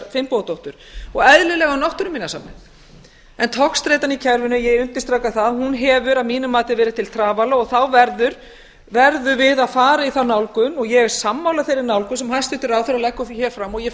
finnbogadóttur og eðlilega um náttúruminjasafnið en togstreitan í kerfinu ég undirstrika það hún hefur að mínu mati verið til trafala þá verðum við að fara í þá nálgun ég er sammála þeirri nálgun sem hæstvirtur ráðherra leggur hér fram ég